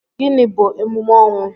Gịnị bu emume ọnwụ?